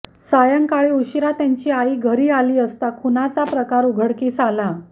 सायंकाळी उशिरा त्यांची आई घरी आली असता खुनाचा प्रकार उघडकीस आला